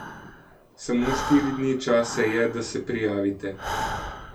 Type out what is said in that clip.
Samo štiri dni časa je, da se prijavite.